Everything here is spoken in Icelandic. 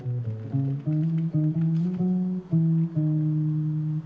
meira